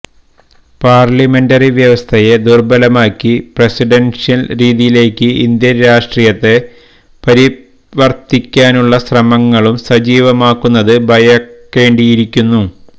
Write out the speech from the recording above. parliamentary വ്യവസ്ഥയെ ദുര്ബലമാക്കി presidential രീതിയിലേക്ക് ഇന്ത്യന് രാഷ്ട്രീയത്തെ പരിവര്ത്തിപ്പിക്കാനുള്ള ശ്രമങ്ങളും സജീവമാകുന്നത് ഭയക്കേണ്ടിയിരിക്കുന്നു